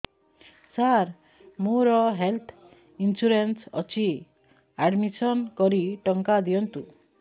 ସାର ମୋର health insurance ଅଛି admission କରି ଟଙ୍କା ଦିଅନ୍ତୁ